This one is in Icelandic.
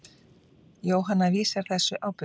Jóhanna vísar þessu á bug.